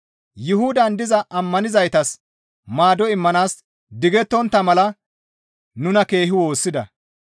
Yuhudan diza ammanizaytas maado immanaas digettontta mala nuna keehi woossida.